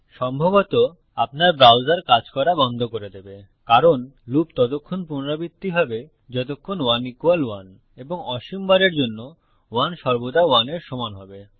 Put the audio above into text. সম্ভবত আপনার ব্রাউজার কাজ করা বন্ধ করে দেবে কারণ লুপ ততক্ষণ পুনরাবৃত্তি হবে যতক্ষণ 1 1 এবং অসীম বারের জন্য 1 সর্বদা 1 এর সমান হবে